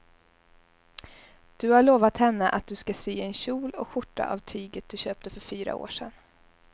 Du har lovat henne att du ska sy en kjol och skjorta av tyget du köpte för fyra år sedan.